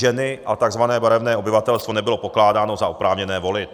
Ženy a tzv. barevné obyvatelstvo nebylo pokládáno za oprávněné volit.